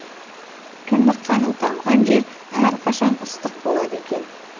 кіндік қаның тамған жер әрқашан ыстық болады екен